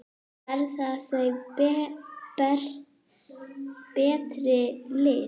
Verða þau betri lið?